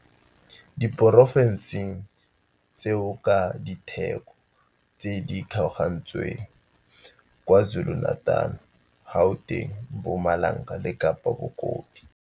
Diporofenseng tseo ka ditheko tse di kgaogantsweng, KwaZulu-Natal, Gauteng, Mpumalanga le Kapa Bokone.